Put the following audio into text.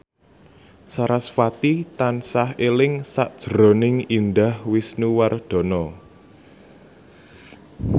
sarasvati tansah eling sakjroning Indah Wisnuwardana